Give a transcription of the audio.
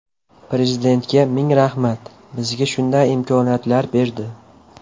Prezidentga ming rahmat, bizga shunday imkoniyatlar berdi.